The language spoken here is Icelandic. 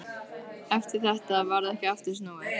Eftir þetta varð ekki aftur snúið.